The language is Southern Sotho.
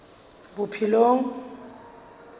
bophelong